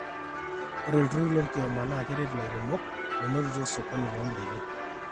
ore iltururri lolkioma naa keret ilairemok menotito osokoni loondaiki